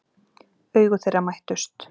Augu þeirra mættust.